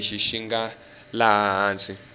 lexi xi nga laha hansi